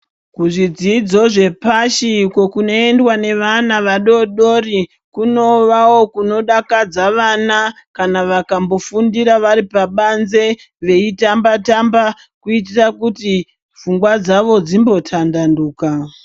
Kuzvidzidzo zvepashi uko kunoendwa nevana vadodori kunovawo kunodakadza vana kana vakambofundira vari pabanze veitambatamba kuitira kuti pfungwa dzawo dzimbotambanuka